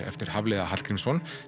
eftir Hafliða Hallgrímsson